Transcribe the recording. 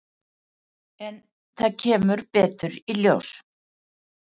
En það kemur betur í ljós.